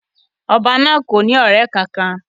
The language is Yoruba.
Oba naa ko ni ọrẹ kankan.